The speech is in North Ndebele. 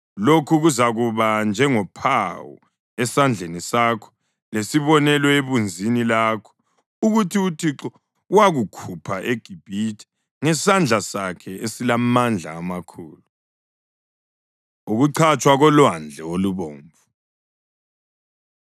Lokhu kuzakuba njengophawu esandleni sakho lesibonelo ebunzini lakho ukuthi uThixo wakukhupha eGibhithe ngesandla sakhe esilamandla amakhulu.” Ukuchatshwa KoLwandle Olubomvu